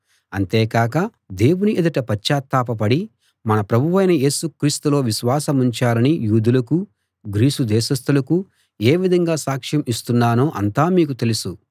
అంతేకాక దేవుని ఎదుట పశ్చాత్తాప పడి మన ప్రభువైన యేసు క్రీస్తులో విశ్వాసముంచాలని యూదులకూ గ్రీసు దేశస్తులకూ ఏ విధంగా సాక్ష్యం ఇస్తున్నానో అంతా మీకు తెలుసు